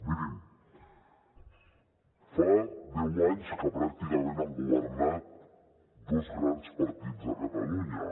mirin fa deu anys que pràcticament han governat dos grans partits a catalunya